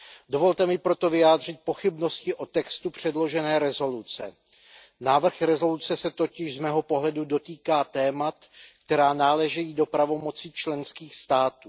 Dovolte mi proto vyjádřit pochybnosti o textu předložené rezoluce. Návrh rezoluce se totiž z mého pohledu dotýká témat, která náleží do pravomocí členských států.